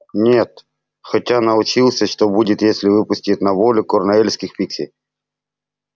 нет хотя научился что будет если выпустить на волю корнуэльских пикси